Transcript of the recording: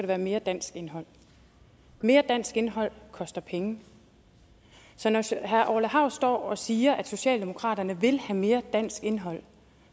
være mere dansk indhold mere dansk indhold koster penge så når herre orla hav står og siger at socialdemokratiet vil have mere dansk indhold